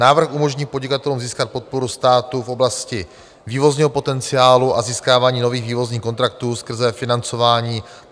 Návrh umožní podnikatelům získat podporu státu v oblasti vývozního potenciálu a získávání nových vývozních kontraktů skrze financování.